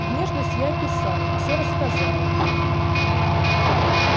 внешность я описал всё рассказал